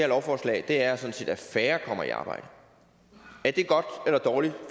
lovforslag er sådan set at færre kommer i arbejde er det godt eller dårligt